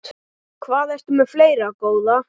Hvað ertu með fleira, góða?